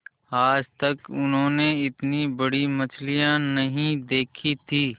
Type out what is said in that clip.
आज तक उन्होंने इतनी बड़ी मछली नहीं देखी थी